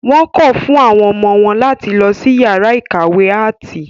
Wọ́n kọ̀ fún àwọn ọmọ wọn láti lọ sí yàrá ìkàwé áàtì.